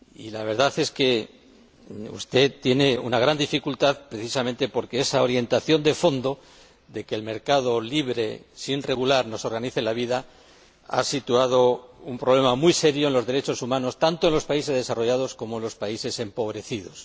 La verdad es que usted tiene una gran dificultad precisamente porque esa orientación de fondo, de que el mercado libre sin regular nos organice la vida, ha ocasionado un problema muy serio de derechos humanos, tanto en los países desarrollados como en los países empobrecidos.